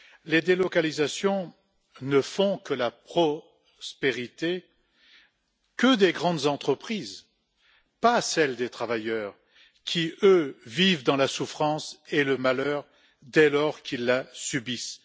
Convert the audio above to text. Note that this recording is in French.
Les délocalisations ne font la prospérité que des grandes entreprises, pas celle des travailleurs, qui, eux, vivent dans la souffrance et le malheur, dès lors qu'ils la subissent.